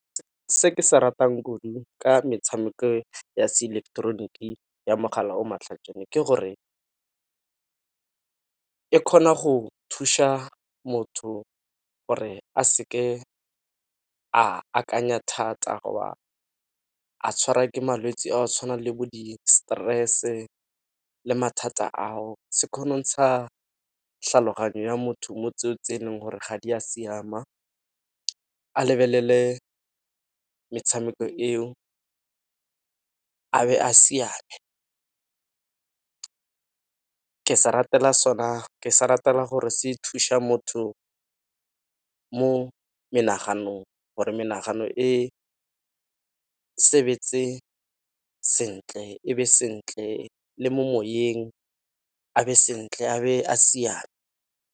Se ke se ratang kudu ka metshameko ya se ileketeroniki ya mogala o matlhajana ke gore e kgona go thuša motho gore a seke a akanya thata go ba a tshwarwa ke malwetse a go tshwana le bo di-stress-e le mathata a o. sa tlhaloganyo ya motho mo tseo tse e leng gore ga di a siama, a lebelele metshameko eo a be a siame. Ke se ratela sona, ke sa ratela gore se thuša motho mo menaganong gore menagano e sebetse sentle e be sentle le mo moyeng a be sentle a be a siame.